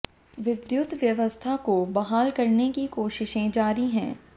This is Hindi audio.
विद्युत व्यवस्था को बहाल करने की कोशिशें जारी हैं